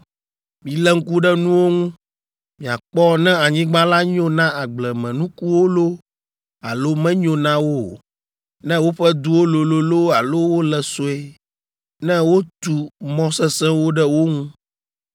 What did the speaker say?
Milé ŋku ɖe nuwo ŋu, miakpɔ ne anyigba la nyo na agblemenukuwo loo alo menyo na wo o, ne woƒe duwo lolo loo alo wole sue, ne wotu mɔ sesẽwo ɖe wo ŋu,